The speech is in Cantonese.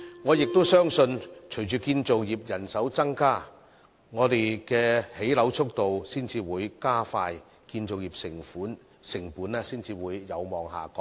我亦相信，隨着建造業人手增加，香港興建樓宇的速度才會加快，建造業成本才會有望下降。